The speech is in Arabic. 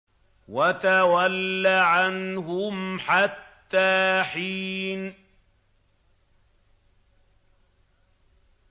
وَتَوَلَّ عَنْهُمْ حَتَّىٰ حِينٍ